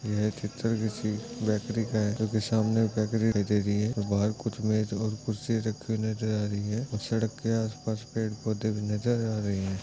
यह चित्र कीसी बैकरी का है जो के सामने बेकरी है बाहर कुछ मेज और कुर्सी रख्खी नजर आ रही है सड़क के आस-पास पैड-पौधे भी नजर आ रहे है।